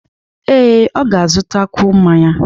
Ee, ọ ga-azụtakwu mmanya.